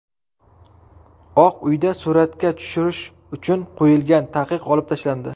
Oq uyda suratga tushirish uchun qo‘yilgan taqiq olib tashlandi.